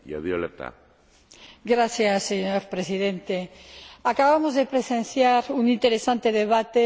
Señor Presidente, acabamos de presenciar un interesante debate con una gran participación.